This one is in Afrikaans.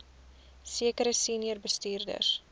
sekere senior bestuurders